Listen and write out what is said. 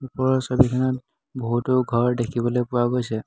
ওপৰৰ ছবিখনত বহুতো ঘৰ দেখিবলৈ পোৱা গৈছে।